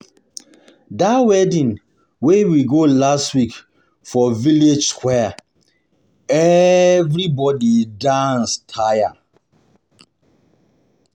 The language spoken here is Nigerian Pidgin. Dat wedding wey we go last week for village square, everybodi dance square, everybodi dance tire.